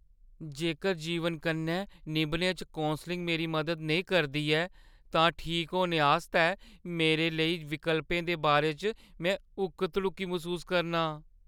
जेकर जीवन कन्नै निभने च कौंसलिंग मेरी मदद नेईं करदी ऐ तां ठीक होने आस्तै मेरे लेई विकल्पें दे बारे च में हुक्क-धड़ुक्की मसूस करनां ।